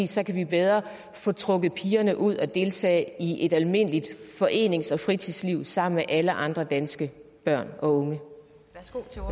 så kan vi bedre få trukket pigerne ud at deltage i et almindeligt forenings og fritidsliv sammen med alle andre danske børn og unge